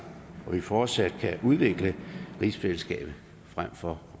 og at vi fortsat kan udvikle rigsfællesskabet frem for